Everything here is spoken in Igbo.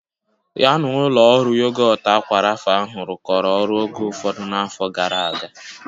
Ya na ụlọ ọrụ yogọt aqua Rapha ahụ rụkọrọ ọrụ oge ụfọdụ n'afọ gara aga